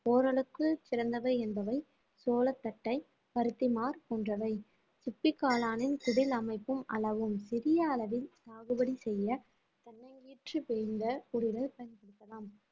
ஓரளவுக்கு சிறந்தவை என்பவை சோள தட்டை பருத்திமார் போன்றவை சிப்பி காளானின் குடில் அமைப்பும் அளவும் சிறிய அளவில் சாகுபடி செய்ய தென்னங்கீற்று வேய்ந்த குடிலை பயன்படுத்தலாம்